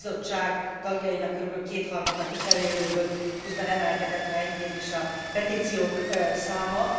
A bizottság tagjainak körülbelül kétharmada kicserélődött, közben emelkedett ha enyhén is a petíciók száma.